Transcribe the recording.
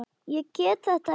Ég get þetta ekki.